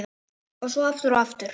Og svo aftur og aftur.